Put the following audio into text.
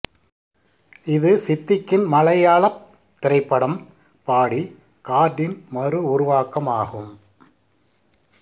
இது சித்திக்கின் மலையாளப் திரைப்படம் பாடி கார்டின் மறு உருவாக்கம் ஆகும்